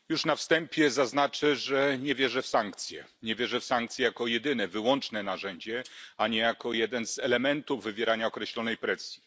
Panie Przewodniczący! Już na wstępie zaznaczę, że nie wierzę w sankcje. Nie wierzę w sankcje jako jedyne, wyłączne narzędzie, a nie jako jeden z elementów wywierania określonej presji.